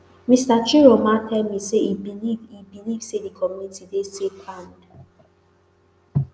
mr chiroma tell me say e believe e believe say di community dey safe and